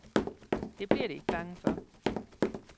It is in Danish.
Det bliver de ikke bange for.